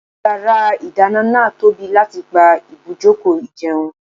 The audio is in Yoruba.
Yàrá ìdáná náà tóbi láti gba ibùjókòó ìjẹun.